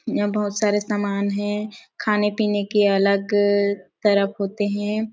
यहाँ बोहोत सारे सामान है खाने -पीने के अलग तरफ होते हैं।